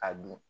A dun